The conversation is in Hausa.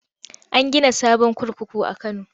An gina sabon kurkuku a Kano.